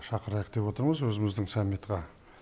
шақырайық деп отырмыз өзіміздің саммитқа